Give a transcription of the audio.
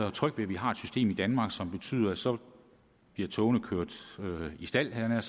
og tryg ved at vi har et system i danmark som betyder at så bliver togene kørt i stald havde jeg